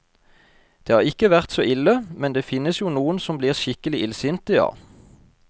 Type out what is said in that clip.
Det har ikke vært så ille, men det finnes jo noen som blir skikkelig illsinte, ja.